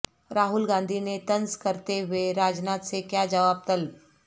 راہل گاندھی نے طنز کرتے ہوئے راج ناتھ سے کیا جواب طلب